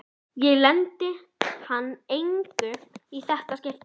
Ég leyni hann engu í þetta skipti.